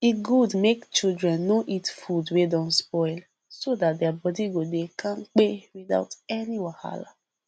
e good make children no eat food wey don spoil so that their body go dey kampe without any wahala